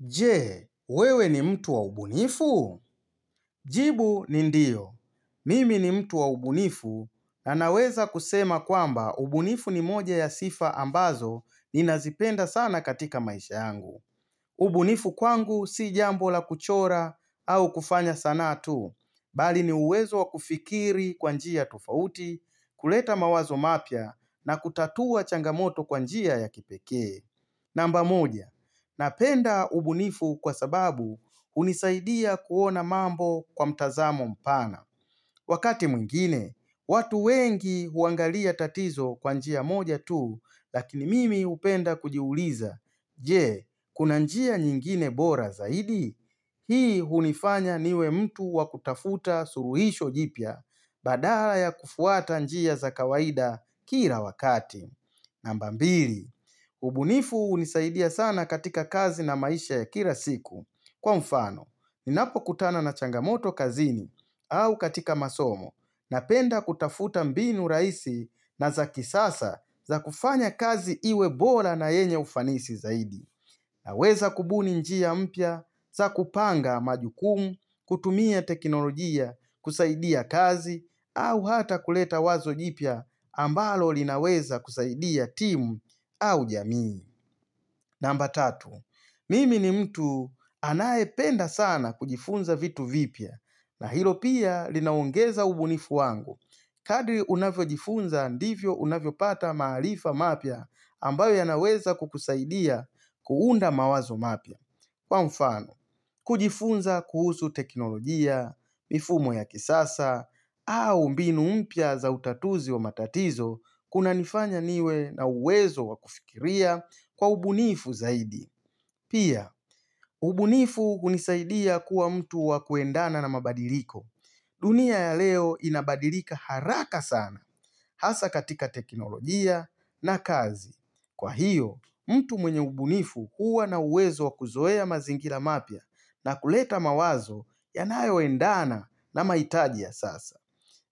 Je, wewe ni mtu wa ubunifu? Jibu ni ndio. Mimi ni mtu wa ubunifu na naweza kusema kwamba ubunifu ni moja ya sifa ambazo ninazipenda sana katika maisha yangu. Ubunifu kwangu si jambo la kuchora au kufanya sanaa tu, bali ni uwezo wa kufikiri kwa njia tofauti, kuleta mawazo mapya na kutatua changamoto kwa njia ya kipekee. Namba moja, napenda ubunifu kwa sababu hunisaidia kuona mambo kwa mtazamo mpana. Wakati mwingine, watu wengi huangalia tatizo kwa njia moja tu, lakini mimi hupenda kujiuliza, je, kuna njia nyingine bora zaidi, hii hunifanya niwe mtu wa kutafuta suluhisho jipya, badala ya kufuata njia za kawaida kila wakati. Namba mbili, ubunifu hunisaidia sana katika kazi na maisha ya kila siku. Kwa mfano, ninapokutana na changamoto kazini au katika masomo na penda kutafuta mbinu rahisi na za kisasa za kufanya kazi iwe bora na yenye ufanisi zaidi. Naweza kubuni njia mpya za kupanga majukumu kutumia teknolojia kusaidia kazi au hata kuleta wazo jipya ambalo linaweza kusaidia timu au jamii. Namba tatu, mimi ni mtu anayependa sana kujifunza vitu vipya, na hilo pia linaongeza ubunifu wangu, kadri unavyojifunza ndivyo unavyopata maalifa mapya ambayo yanaweza kukusaidia kuunda mawazo mapya. Kwa mfano, kujifunza kuhusu teknolojia, mifumo ya kisasa, au mbinu mpya za utatuzi wa matatizo kuna nifanya niwe na uwezo wa kufikiria kwa ubunifu zaidi. Pia, ubunifu hunisaidia kuwa mtu wa kuendana na mabadiliko. Dunia ya leo inabadilika haraka sana hasa katika teknolojia na kazi. Kwa hiyo, mtu mwenye ubunifu huwa na uwezo wa kuzoea mazingira mapya na kuleta mawazo yanayoendana na mahitaji ya sasa.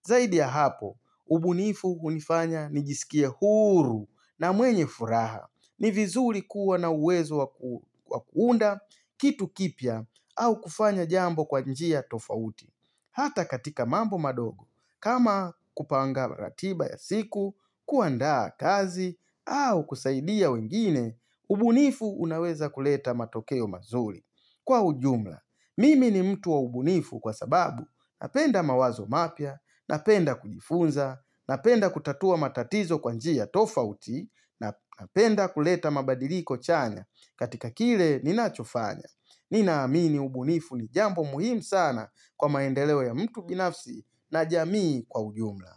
Zaidi ya hapo, ubunifu hunifanya nijisikie huru na mwenye furaha. Ni vizuri kuwa na uwezo wa kuunda kitu kipya au kufanya jambo kwa njia tofauti. Hata katika mambo madogo, kama kupanga ratiba ya siku, kuandaa kazi, au kusaidia wengine, ubunifu unaweza kuleta matokeo mazuri. Kwa ujumla, mimi ni mtu wa ubunifu kwa sababu, napenda mawazo mapya, napenda kujifunza, napenda kutatua matatizo kwa njia tofauti, napenda kuleta mabadiliko chanya. Katika kile ninachofanya Nina amini ubunifu ni jambo muhimu sana Kwa maendeleo ya mtu binafsi na jamii kwa ujumla.